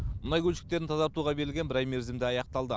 мұнай көлшіктерін тазартуға берілген бір ай мерзім де аяқталды